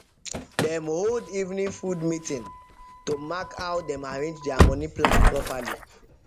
dem hold evening food meeting to mark how dem arrange their money plan properly